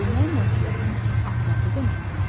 Böyümək məsuliyyətin artması deməkdirmi?